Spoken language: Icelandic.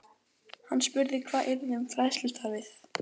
Hann spurði hvað yrði um fræðslustarfið.